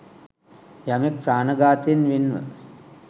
යමෙක් ප්‍රාණඝාතයෙන් වෙන්ව